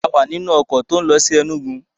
A wà nínú ọkọ̀ lọ sí Ẹnúgu